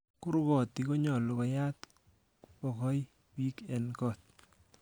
Kurg'ootik konyolu koyaat bokoi bii en got.